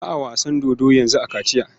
Ba a wasan dodo yanzu a Kachiya.